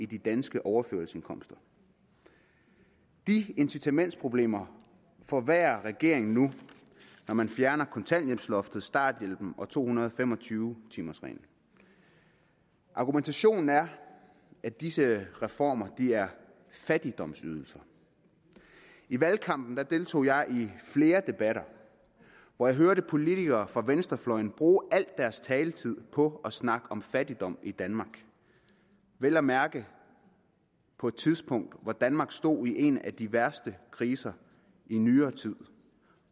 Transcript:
de danske overførselsindkomster de incitamentsproblemer forværrer regeringen nu når man fjerner kontanthjælpsloftet starthjælpen og to hundrede og fem og tyve timers reglen argumentationen er at disse reformer giver fattigdomsydelser i valgkampen deltog jeg i flere debatter hvor jeg hørte politikere fra venstrefløjen bruge al deres taletid på at snakke om fattigdom i danmark vel at mærke på et tidspunkt hvor danmark stod i en af de værste kriser i nyere tid